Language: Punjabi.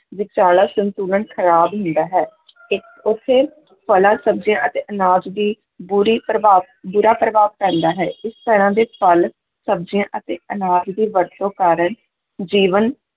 ਵਿਚਾਲਾ ਸੰਤੁਲਨ ਖਰਾਬ ਹੁੰਦਾ ਹੈ ਇਹ ਉੱਥੇ ਫਲਾਂ, ਸਬਜ਼ੀਆਂ ਅਤੇ ਅਨਾਜ ਦੀ ਬੁਰੀ ਪ੍ਰਭਾਵ ਬੁਰਾ ਪ੍ਰਭਾਵ ਪੈਂਦਾ ਹੈ, ਇਸ ਤਰ੍ਹਾਂ ਦੇ ਫਲ, ਸਬਜ਼ੀਆਂ ਅਤੇ ਅਨਾਜ ਦੀ ਵਰਤੋਂ ਕਾਰਨ ਜੀਵਨ